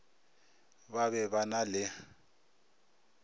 ba be ba na le